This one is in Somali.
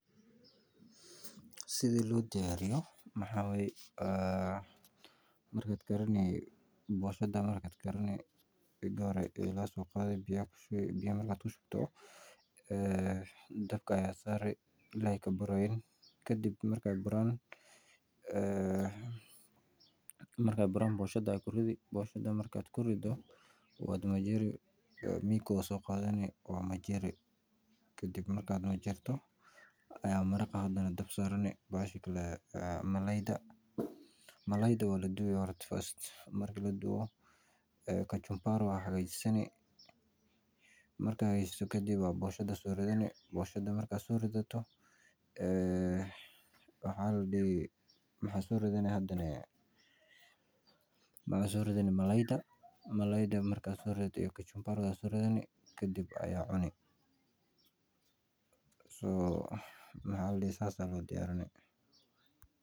Sidi loo doyaariyo waxaa waye marka hore biya ayaa soo qaadi dabka ayaa saari boshada ayaa kushubi kadib waa majiiri kadib ayaa kadajin kadib malalayda ayaa shiili waa karin kadib boshada ayaa soo ridani kadib malalayda ayaa soo ridani kadib waa cuni saas ayaa loo diyaarini.